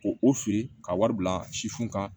Ko o fili ka wari bila sifin na